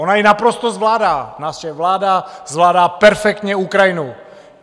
Ona ji naprosto zvládá, naše vláda zvládá perfektně Ukrajinu.